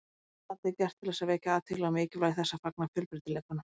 Myndbandið er gert til þess að vekja athygli á mikilvægi þess að fagna fjölbreytileikanum.